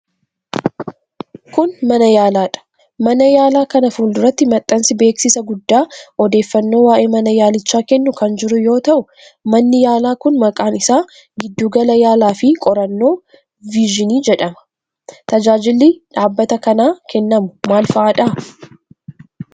Kun, mana yaalaadha. Mana yaalaa kana fuuluratti maxxansi beeksisaa guddaa odeeffannoo waa'ee mana yaalichaa kennu kan jiru yoo ta'u, manni yaalaa kun maqaan isa Giddu Gala Yaalaa fi Qorannoo Vizyin jedhama. Tajaajilli dhaabbata kanaa kennamu maal faa dha?